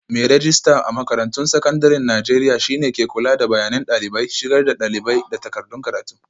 Mai rejista a makarantun sakandaren Najeriya shi ne ke kula da bayanan dalibai, shigar da dalibai, da takardun karatu.